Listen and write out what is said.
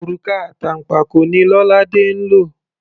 Òrùka àtànpàkò ni Lolade ń lò.